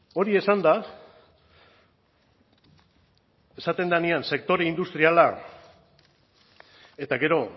hori esanda esaten denean sektore industriala eta gero